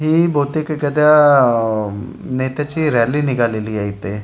हि बहुतेक एखाद्या अअअ नेत्याची रॅली निघालेली आहे इथे आजूबा--